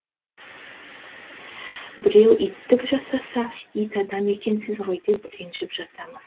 біреу иттік жасаса ит адам екенсіз ғой деп ренжіп жатамыз